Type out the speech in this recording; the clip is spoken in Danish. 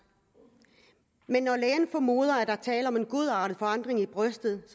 men når lægen formoder at der er tale om en godartet forandring i brystet